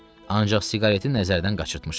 Ancaq siqareti nəzərdən qaçırtmışam.